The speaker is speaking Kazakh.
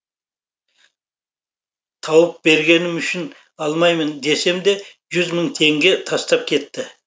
тауып бергенім үшін алмаймын десем де жүз мың теңге тастап кетті